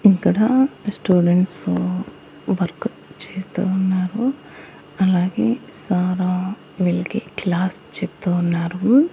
ఇక్కడ students work చేస్తూ ఉన్నారు అలాగే సార్ వీళ్ళకి క్లాస్ చెప్తూ ఉన్నారు.